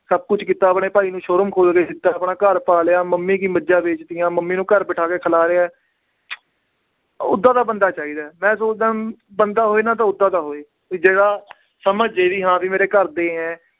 ਸਭ ਕੁਛ ਕੀਤਾ ਆਪਣੇ ਭਾਈ ਨੂੰ showroom ਖੋਲ ਕੇ ਦਿੱਤਾ ਆਪਣਾ ਘਰ ਪਾ ਲਿਆ ਮੰਮੀ ਕੀ ਮੱਝਾਂ ਵੇਚ ਦਿੱਤੀਆਂ, ਮੰਮੀ ਨੂੰ ਘਰ ਬਿਠਾ ਕੇ ਖਿਲਾ ਰਿਹਾ ਹੈ ਓਦਾਂ ਦਾ ਬੰਦਾ ਚਾਹੀਦਾ ਹੈ, ਮੈਂ ਸੋਚਦਾਂ ਬੰਦਾ ਹੋਵੇ ਨਾ ਤਾਂ ਓਦਾਂ ਦਾ ਹੋਵੇ, ਵੀ ਜਿਹੜਾ ਸਮਝ ਜਾਏ ਵੀ ਹਾਂ ਵੀ ਮੇਰੇ ਘਰਦੇ ਹੈ,